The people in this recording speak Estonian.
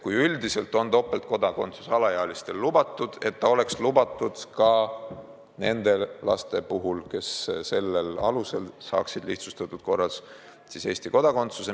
Üldiselt on topeltkodakondsus alaealistele lubatud ja see peaks olema lubatud ka nende laste puhul, kes sellel alusel saaksid lihtsustatud korras Eesti kodakondsuse.